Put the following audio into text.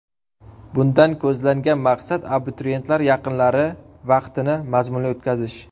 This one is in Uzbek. Bundan ko‘zlangan maqsad abituriyentlar yaqinlari vaqtini mazmunli o‘tkazish.